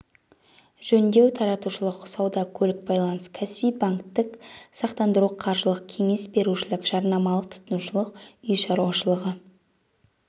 жөндеу таратушылық сауда көлік байланыс кәсіби банктық сақтандыру қаржылық кеңес берушілік жарнамалық тұтынушылық үй шаруашылығы